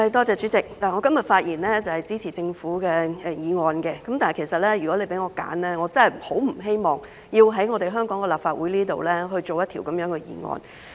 主席，我今天發言支持政府的法案，但如果讓我選擇，我真的很不希望在香港立法會制定這樣的法案。